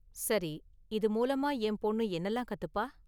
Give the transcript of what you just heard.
சரி, இது மூலமா என் பொண்ணு என்னலாம் கத்துப்பா?